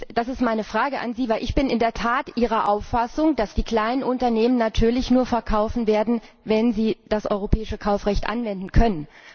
Das ist meine Frage an Sie, denn ich bin in der Tat Ihrer Auffassung, dass die kleinen Unternehmen natürlich nur verkaufen werden, wenn sie das europäische Kaufrecht anwenden können.